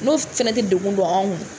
N'o fɛnɛ tɛ dekun don anw